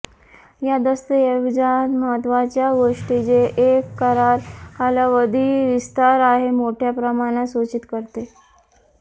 या दस्तऐवजात महत्त्वाच्या गोष्टी जे एक करार कालावधी विस्तार आहे मोठ्या प्रमाणात सूचित करते